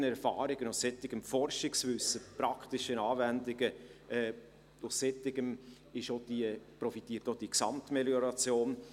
Von solchen Erfahrungen, von solchem Forschungswissen, von praktischen Anwendungen, davon profitiert auch die Gesamtmelioration.